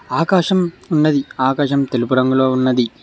ఆకాశం ఉన్నది ఆకాశం తెలుపు రంగులో ఉన్నది.